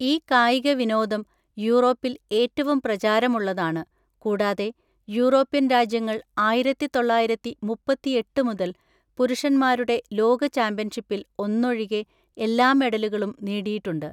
ഈ കായിക വിനോദം യൂറോപ്പിൽ ഏറ്റവും പ്രചാരമുള്ളതാണ്, കൂടാതെ യൂറോപ്യൻ രാജ്യങ്ങൾ ആയിരത്തി തൊള്ളായിരത്തി മുപ്പത്തിഎട്ട് മുതൽ പുരുഷന്മാരുടെ ലോക ചാമ്പ്യൻഷിപ്പിൽ ഒന്നൊഴികെ എല്ലാ മെഡലുകളും നേടിയിട്ടുണ്ട്.